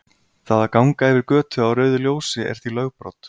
Það að ganga yfir götu á rauðu ljósi er því lögbrot.